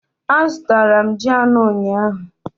Azụtara m ji anọ ụnyahụ